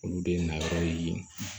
Olu de ye nakɔ ye